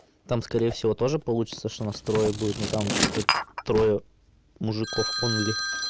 там скорее всего тоже получится что нас трое будет но там чисто трое мужиков онли